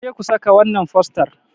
ku je ku saka wannan fostar!